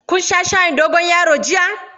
Kun sha shayin dogon yaro jiya?